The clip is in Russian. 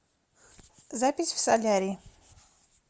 запись в солярий